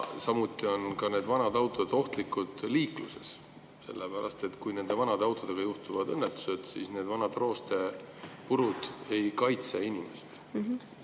Samuti on vanad autod ohtlikud liikluses, sellepärast et kui nende vanade autodega juhtuvad õnnetused, siis need vanad roostepurud ei kaitse inimest.